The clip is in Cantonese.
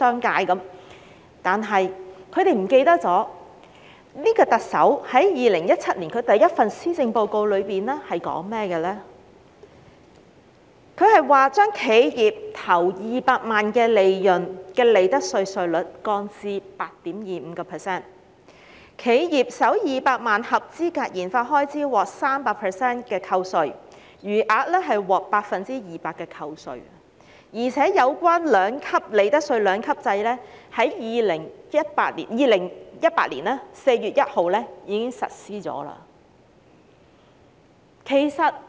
可是，他們忘了，現屆特首在2017年第一份施政報告中，建議將企業首200萬元利潤的利得稅稅率降至 8.25%， 企業首200萬元合資格研發開支獲 300% 的扣稅，餘額獲 200% 的扣稅，而且有關利得稅兩級制在2018年4月1日已開始實施。